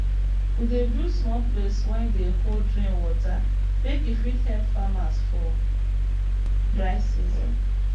we dey build small place wey dey hold rain water make e fit help farmers for dry season